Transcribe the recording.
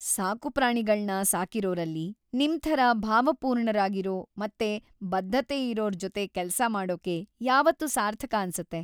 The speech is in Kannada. ಸಾಕುಪ್ರಾಣಿಗಳ್ನ ಸಾಕಿರೋರಲ್ಲಿ ನಿಮ್ಥರ ಭಾವಪೂರ್ಣರಾಗಿರೋ ಮತ್ತೆ ಬದ್ಧತೆಯಿರೋರ್‌ ಜೊತೆ ಕೆಲ್ಸ ಮಾಡೋಕೆ ಯಾವತ್ತೂ ಸಾರ್ಥಕ ಅನ್ಸತ್ತೆ.